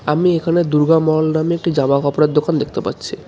আমি এখানে দুর্গা মল নামে জামাকাপড়ের দোকান দেখতে পাচ্ছি.